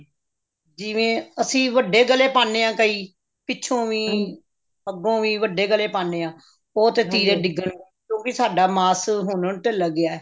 ਜਿਵੇਂ ਅਸੀਂ ਵੱਡੇ ਗਲੇ ਪਾਉਣੇ ਹਾਂ ਕਈ ਪਿੱਛੋ ਵੀ ਅੱਗੋਂ ਵੀ ਵੱਡੇ ਗਲੇ ਪਾਉਣੇ ਹਾਂ ਉਹ ਤੇ ਤਿਰੇ ਡਿੱਗਣਗੇ ਕਿਉਂਕਿ ਸਾਡਾ ਮਾਸ ਹੁਣ ਤਿਲਕ ਗਿਆ